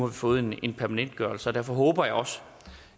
vi fået en permanentgørelse og derfor håber jeg også